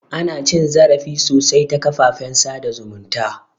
Ana cin zarafi sosai ta kafafen sada zumunta